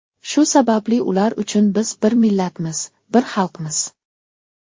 Shu sababli ular uchun biz bir millatmiz, bir xalqmiz.